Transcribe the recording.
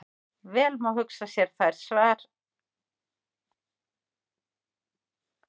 Vel má hugsa sér þær sem svar eða viðbrögð við því sem áður er skrifað.